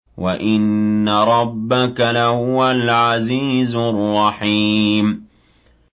وَإِنَّ رَبَّكَ لَهُوَ الْعَزِيزُ الرَّحِيمُ